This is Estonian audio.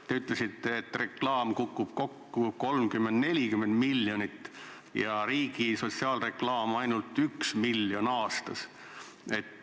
Te ütlesite, et reklaamiturg kukub kokku 30–40 miljonit ja riigi sotsiaalreklaam maksab ainult 1 miljoni aastas.